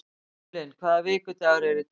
Evelyn, hvaða vikudagur er í dag?